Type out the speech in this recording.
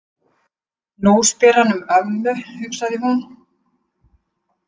Nú spyr hann um ömmu, hugsaði hún.